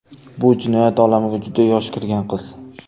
Bu jinoyat olamiga juda yosh kirgan qiz.